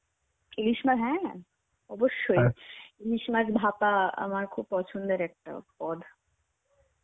ইলিশ মাছ হ্যাঁ. অবশ্যই. ইলিশ মাছ ভাপা আমার খুব পছন্দের একটা পদ.